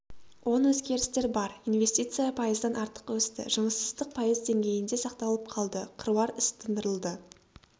оң өзгерістер бар инвестиция пайыздан артық өсті жұмыссыздық пайыз деңгейінде сақталып қалды қыруар іс тындырылды